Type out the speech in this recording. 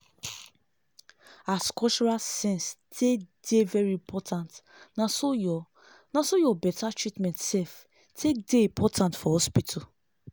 as cultural sense take dey very important naso ur naso ur better treatment sef take dey important for hospital